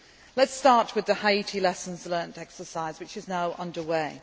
force. Let us start with the Haiti lessons learned exercise which is now under